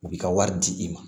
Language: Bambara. U b'i ka wari di i ma